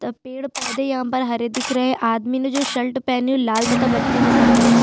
पेड़ पोधे यहाँ पर हरे दिख रहे है आदमी ने जो शर्ट पहनी वो लाल तथा बच्चे ने सफ़ेद --